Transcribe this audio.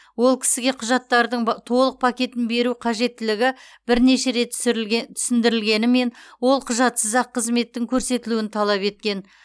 ол кісіге құжаттардың толық пакетін беру қажеттілігі бірнеше рет түсіндірілгенімен ол құжатсыз ақ қызметтің көрсетілуін талап еткен